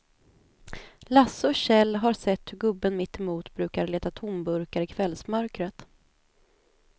Lasse och Kjell har sett hur gubben mittemot brukar leta tomburkar i kvällsmörkret.